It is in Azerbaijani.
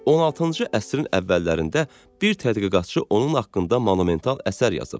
16-cı əsrin əvvəllərində bir tədqiqatçı onun haqqında monumental əsər yazıb.